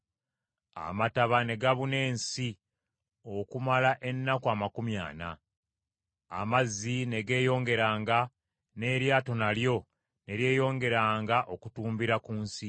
Amataba ne gabuna ensi okumala ennaku amakumi ana. Amazzi ne geeyongeranga, n’eryato nalyo ne lyeyongeranga okutumbiira ku nsi.